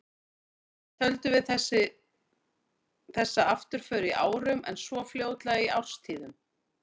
Fyrst töldum við þessa afturför í árum, en svo fljótlega í árstíðum.